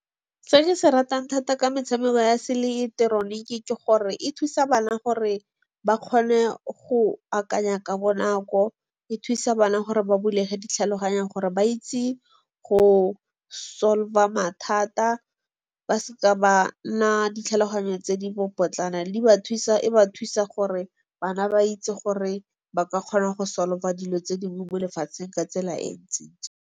Se ke se ratang thata ka metshameko ya seileketoroniki ke gore e thusa bana gore ba kgone go akanya ka bonako, e thusa bana gore ba bulege di tlhaloganya gore ba itse go solve-a mathata ba seka ba nna ditlhaloganyo tse dibopotlana. E ba thusa gore bana ba itse gore ba ka kgona go solve-a dilo tse di mo lefatsheng ka tsela e ntsi-ntsi.